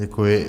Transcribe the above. Děkuji.